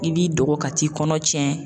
I b'i dogo ka t'i kɔnɔ cɛn.